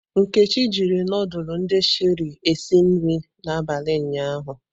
Nkechi jiri ndulu ndi Sherie esi nri abalị ụnyahụ.